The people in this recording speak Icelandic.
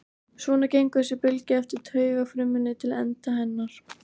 Svona gengur þessi bylgja eftir taugafrumunni til enda hennar.